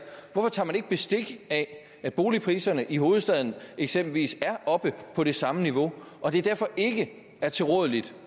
hvorfor tager man ikke bestik af at boligpriserne i hovedstaden eksempelvis er oppe på det samme niveau og det derfor ikke er tilrådeligt